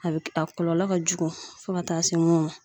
A be a kɔlɔlɔ ka jugu fɔ ka taa se munnu ma